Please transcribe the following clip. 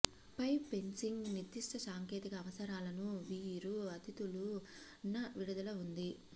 pipe fencing నిర్దిష్ట సాంకేతిక అవసరాలను వీరు అతిథులు న విడుదల ఉంది